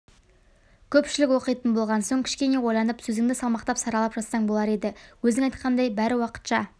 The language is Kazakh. көпшілік оқитын болған соң кішкене ойланып сөзіңді салмақтап саралап жазсаң болар еді өзің айтқандай бәрі уақытша